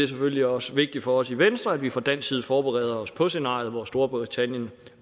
selvfølgelig også vigtigt for os i venstre at vi fra dansk side forbereder os på scenariet hvor storbritannien